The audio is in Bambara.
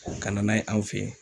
O kana n'a ye an fɛ yen.